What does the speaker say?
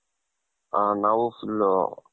ಹ ನಾವು full